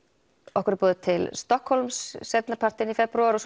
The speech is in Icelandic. okkur er boðið til Stokkhólms seinni partinn í febrúar og